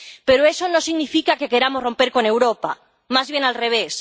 Pero eso no significa que queramos romper con Europa, más bien al revés.